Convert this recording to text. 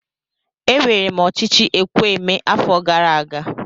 Ewere m ochichi ekwu emee afo gara aga.